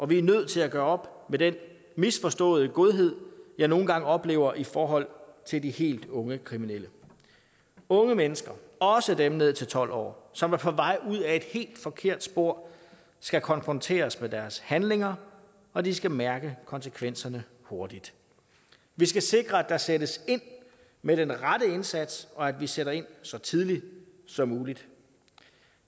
vi er nødt til at gøre op med den misforståede godhed jeg nogle gange oplever i forhold til de helt unge kriminelle unge mennesker også dem ned til tolv år som er på vej ud ad et helt forkert spor skal konfronteres med deres handlinger og de skal mærke konsekvenserne hurtigt vi skal sikre at der sættes ind med den rette indsats og at vi sætter ind så tidligt som muligt